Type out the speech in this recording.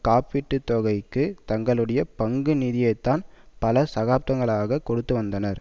காப்பீட்டு தொகைக்கு தங்களுடைய பங்கு நிதியைத்தான் பல சதப்தன்களாக கொடுத்து வந்தனர்